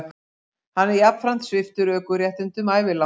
Hann er jafnframt sviptur ökuréttindum ævilangt